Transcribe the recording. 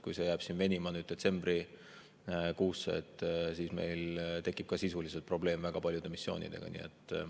Kui jääb venima ja detsembrikuusse, siis meil tekib ka sisuliselt probleem väga paljude missioonidega.